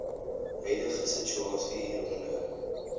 huidige situasie hieronder